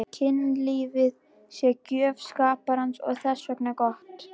Kynlífið sé gjöf skaparans og þess vegna gott.